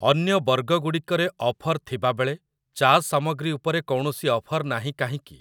ଅନ୍ୟ ବର୍ଗଗୁଡ଼ିକରେ ଅଫର୍ ଥିବାବେଳେ ଚା ସାମଗ୍ରୀ ଉପରେ କୌଣସି ଅଫର୍ ନାହିଁ କାହିଁକି?